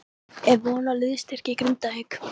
Er von á liðsstyrk í Grindavík?